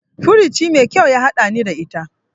Furuci mai kyau ya haɗani ta ita.